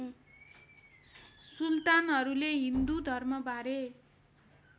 सुल्तानहरूले Hindu धर्मबारे